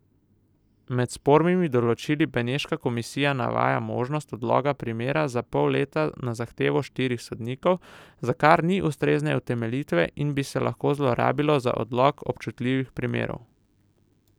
Med spornimi določili Beneška komisija navaja možnost odloga primera za pol leta na zahtevo štirih sodnikov, za kar ni ustrezne utemeljitve in bi se lahko zlorabilo za odlog občutljivih primerov.